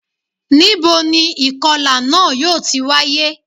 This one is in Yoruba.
Níboni ìkọlà náà yóò ti wáyé